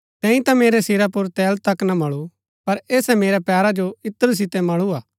तैंई ता मेरै सिरा पुर तेल तक ना मळु पर ऐसै मेरै पैरा जो इत्र सितै मळूआ